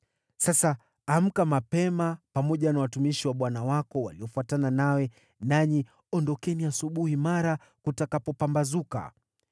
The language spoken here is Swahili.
Sasa amka mapema, pamoja na watumishi wa bwana wako waliofuatana nawe, nanyi ondokeni asubuhi mara kutakapopambazuka.”